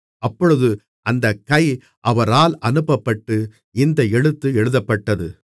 அப்பொழுது அந்தக் கை அவரால் அனுப்பப்பட்டு இந்த எழுத்து எழுதப்பட்டது